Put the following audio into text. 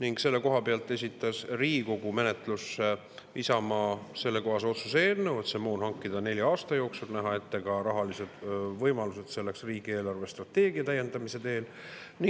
Isamaa esitas Riigikogu menetlusse sellekohase otsuse eelnõu, et see moon hankida nelja aasta jooksul ja näha selleks ette ka rahalised võimalused riigi eelarvestrateegia täiendamise teel.